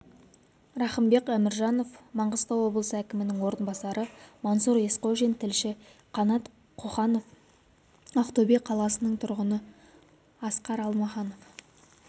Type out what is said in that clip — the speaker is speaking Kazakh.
рақымбек әміржанов маңғыстау облысы әкімінің орынбасары мансұр есқожин тілші қанат қоханов ақтөбе қаласының тұрғыны асқар алмаханов